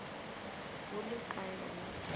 go le ka yona tsela